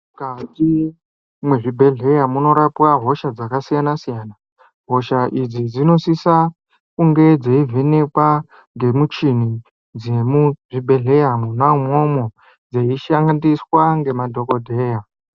Mukati mwezvibhedhleya munorapwa hosha dzakasiyana-siyana. Hosha idzi dzinosisa kunge dzeivhenekwa ngemichini dzemuzvibhedhleya mwona imwomwo dzeishandiswa nemadhogodheya.